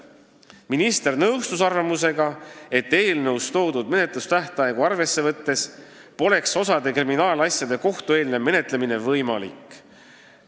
Minister nõustus arvamusega, et eelnõus toodud menetlustähtaegu arvesse võttes poleks osa kriminaalasjade kohtueelne menetlemine võimalik.